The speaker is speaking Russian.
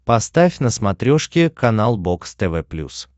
поставь на смотрешке канал бокс тв плюс